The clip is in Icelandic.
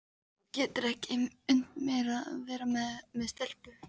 Þú getur ekki unnt mér að vera með stelpu.